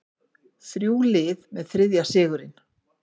Þrjú lið með þriðja sigurinn